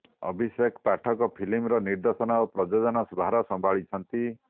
ଅଭିଷେକ ପାଠକ ଫିଲ୍ମର ନିର୍ଦ୍ଦେଶନା ଓ ପ୍ରଯୋଜନା ଭାର ସମ୍ଭାଳିଛନ୍ତି